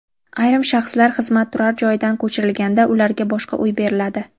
Ayrim shaxslar xizmat turar joyidan ko‘chirilganda ularga boshqa uy beriladi.